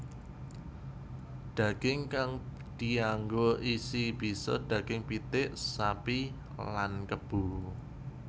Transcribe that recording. Daging kang dianggo isi bisa daging pitik sapi lan kebo